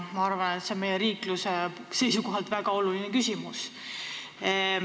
Ma arvan, et see on meie riikluse seisukohalt väga oluline küsimus.